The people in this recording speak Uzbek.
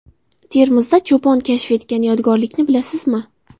Termizda cho‘pon kashf etgan yodgorlikni bilasizmi?.